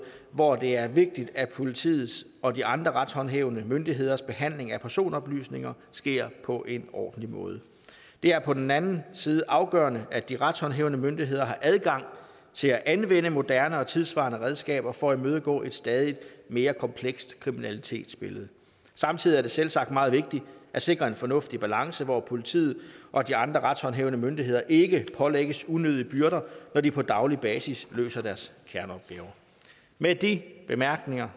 hvor det er vigtigt at politiets og de andre retshåndhævende myndigheders behandling af personoplysninger sker på en ordentlig måde det er på den anden side afgørende at de retshåndhævende myndigheder har adgang til at anvende moderne og tidssvarende redskaber for at imødegå et stadig mere komplekst kriminalitetsbillede samtidig er det selvsagt meget vigtigt at sikre en fornuftig balance hvor politiet og de andre retshåndhævende myndigheder ikke pålægges unødige byrder når de på daglig basis løser deres kerneopgaver med de bemærkninger